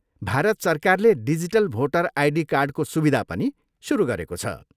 भारत सरकारले digital voter ID कार्डको सुविधा पनि सुरु गरेको छ।